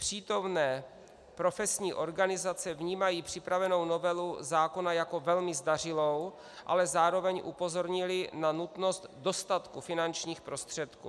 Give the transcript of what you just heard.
Přítomné profesní organizace vnímají připravenou novelu zákona jako velmi zdařilou, ale zároveň upozornily na nutnost dostatku finančních prostředků.